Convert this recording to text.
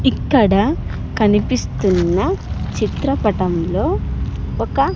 ఇక్కడ కనిపిస్తున్న చిత్రపటంలో ఒక.